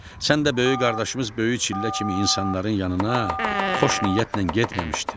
Sən də böyük qardaşımız Böyük Çillə kimi insanların yanına xoş niyyətlə getməmişdin.